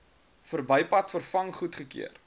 verbypad vervang goedgekeur